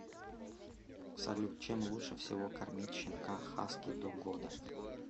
салют чем лучше всего кормить щенка хаски до года